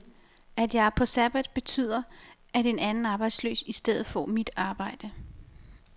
At jeg er på sabbat betyder, at en anden arbejdsløs i stedet får mit arbejde.